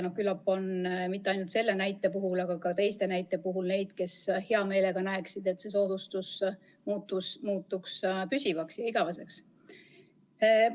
Küllap on mitte ainult selle näite puhul, aga ka teiste näidete puhul neid, kes hea meelega näeksid, et see soodustus muutuks püsivaks ja igaveseks.